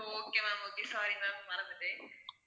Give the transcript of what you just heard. okay ma'am okay sorry ma'am மறந்துட்டேன்